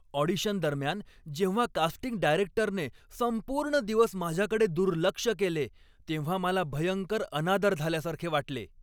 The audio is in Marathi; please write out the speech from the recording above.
ऑडिशन दरम्यान जेव्हा कास्टिंग डायरेक्टरने संपूर्ण दिवस माझ्याकडे दुर्लक्ष केले तेव्हा मला भयंकर अनादर झाल्यासारखे वाटले.